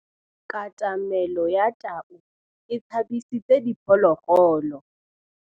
Katamêlô ya tau e tshabisitse diphôlôgôlô.